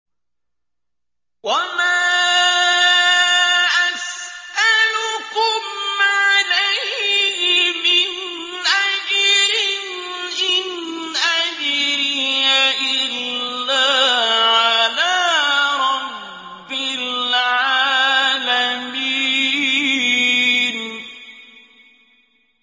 وَمَا أَسْأَلُكُمْ عَلَيْهِ مِنْ أَجْرٍ ۖ إِنْ أَجْرِيَ إِلَّا عَلَىٰ رَبِّ الْعَالَمِينَ